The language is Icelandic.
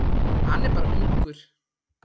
Hann er bara ungur.